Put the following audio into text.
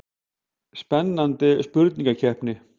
Spennandi spurningakeppni.